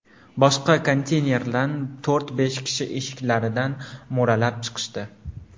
Boshqa konteynerdan to‘rt-besh kishi eshiklaridan mo‘ralab chiqishdi.